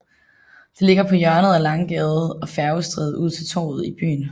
Det ligger på hjørnet af af Langgade og Færgestræde ud til Torvet i byen